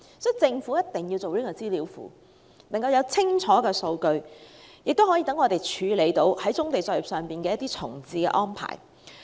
所以，政府一定要設立棕地資料庫，提供清楚的數據，以便處理棕地作業重置的安排。